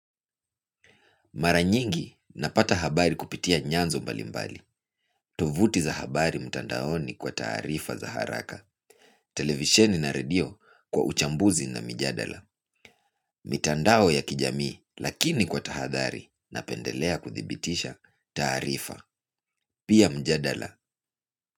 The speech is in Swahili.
Mara nyingi napata habari kupitia nyanzo mbalimbali. Tovuti za habari mtandaoni kwa taarifa za haraka. Televisheni na redio kwa uchambuzi na mijadala. Mitandao ya kijamii lakini kwa tahadhari napendelea kuthibitisha taarifa. Pia mjadala.